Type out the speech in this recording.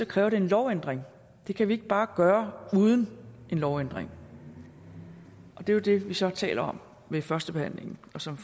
kræver det en lovændring det kan vi ikke bare gøre uden en lovændring og det er jo det vi så taler om ved førstebehandlingen som